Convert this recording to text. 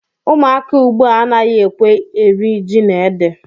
Ụmụaka ugbu a anaghị ekwe eri ji na ede